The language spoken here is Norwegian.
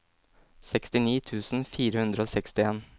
sekstini tusen fire hundre og sekstien